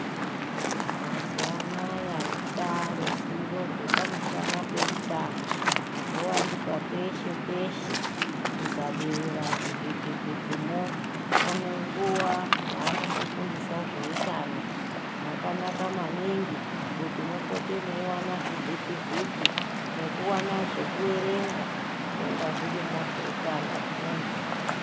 Mazuvanaya rwataaruzivo rwepamusana peutano rwowanikwa peshe peshe ukabeura zvivhiti vhitimwo pane nguva yavanombofundisa zveutano zvakanaka maningi kuti mupote meiwana zvivhiti vhiti nekuwana zvekuerenga zvinonga zvirimwo zveutano hwemuntu.